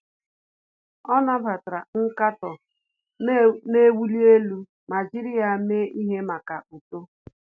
Ọ́ nàbàtàrà nkatọ nà-èwúlí élú ma jìrì ya mee ihe màkà uto.